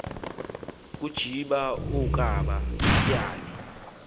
kajiba kaoba katyhali